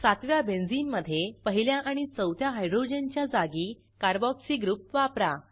सातव्या बेंझिनमधे पहिल्या आणि चौथ्या हायड्रोजनच्या जागी कार्बोक्सी ग्रुप वापरा